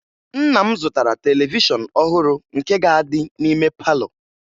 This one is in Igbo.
Nna m zụtara televishọn ọhụrụ nke ga-adị n'ime palọ